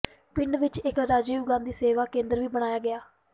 ਪਿੰਡ ਵਿੱਚ ਇੱਕ ਰਾਜ਼ੀਵ ਗਾਂਧੀ ਸੇਵਾ ਕੇਂਦਰ ਵੀ ਬਣਵਾਇਆ ਗਿਆ